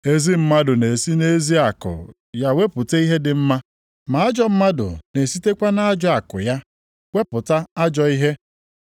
Ezi mmadụ na-esi nʼezi akụ ya wepụta ihe dị mma, ma ajọ mmadụ na-esitekwa nʼajọ akụ ya wepụta ajọọ ihe.